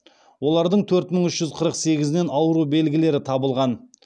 олардың төрт мың үш жүз қырық сегізінен ауру белгілері табылған